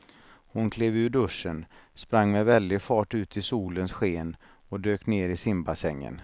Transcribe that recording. Hon klev ur duschen, sprang med väldig fart ut i solens sken och dök ner i simbassängen.